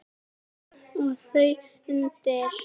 Og þar undir